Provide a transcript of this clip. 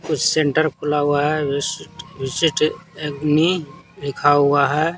कुछ सेंटर खुला हुआ है विशिष्ट अग्नि लिखा हुआ है।